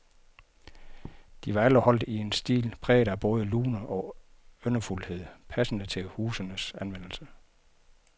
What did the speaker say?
De var alle holdt i en stil præget af både lune og yndefuldhed, passende til husenes anvendelse.